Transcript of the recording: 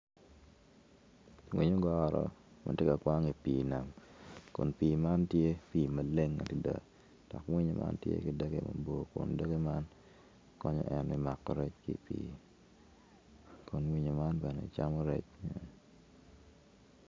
Ogoro ma tye ka kwang i pii kun pii man tye pii ma leng adada dok winyo man tye ki doge mabor kun doge man konyo en me mako rec ki i pii